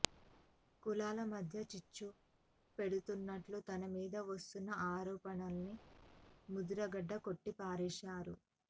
కులాల మధ్య చిచ్చు పెడుతున్నట్టు తన మీద వస్తున్న ఆరోపణల్ని ముద్రగడ కొట్టిపారేశారు